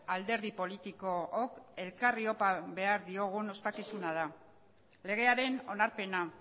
alderdi politikook elkarri opa behar diogun ospakizuna da legearen onarpena